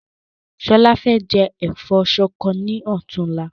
Ṣọlá fẹ jẹ ẹ̀fọ́ ṣọkọ ni ọ̀túnla